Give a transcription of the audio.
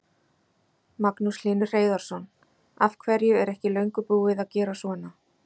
Magnús Hlynur Hreiðarsson: Af hverju er ekki löngu búið að gera svona?